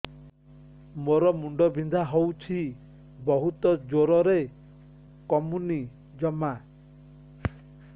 ମୋର ମୁଣ୍ଡ ବିନ୍ଧା ହଉଛି ବହୁତ ଜୋରରେ କମୁନି ଜମା